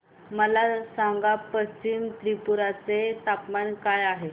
मला सांगा पश्चिम त्रिपुरा चे तापमान काय आहे